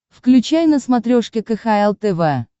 включай на смотрешке кхл тв